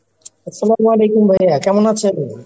আস্সালামালাইকুম ভাইয়া, কেমন আছেন?